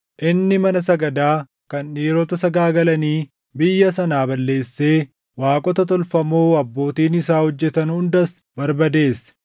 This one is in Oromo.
Inni mana sagadaa kan dhiirota sagaagalanii biyya sanaa balleessee waaqota tolfamoo abbootiin isaa hojjetan hundas barbadeesse.